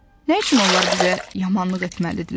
Nə üçün onlar bizə yamanlıq etməlidirlər?